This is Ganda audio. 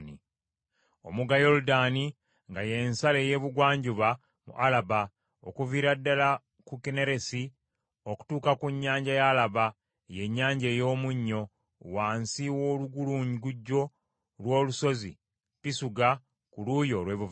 Omugga Yoludaani nga ye nsalo ey’ebugwanjuba mu Alaba, okuviira ddala ku Kinneresi okutuuka ku Nnyanja ya Alaba, ye Nnyanja ey’Omunnyo, wansi w’olugulungujjo lw’olusozi Pisuga ku luuyi olw’ebuvanjuba.